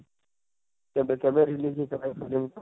କେବେ କେବେ release ହେଇ ଥିଲା ଇ ଫିଲ୍ମ ଟା,